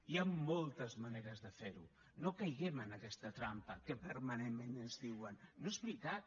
hi han moltes maneres de fer ho no caiguem en aquesta trampa que permanentment ens diuen no és veritat